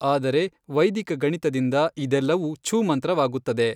ಆದರೆ ವೈದಿಕ ಗಣಿತದಿಂದ ಇದೆಲ್ಲವೂ ಛೂಮಂತ್ರವಾಗುತ್ತದೆ.